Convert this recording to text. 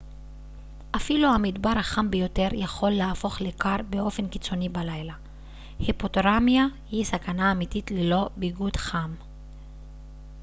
אפילו המדבר החם ביותר יכול להפוך לקר באופן קיצוני בלילה היפותרמיה היא סכנה אמיתית ללא ביגוד חם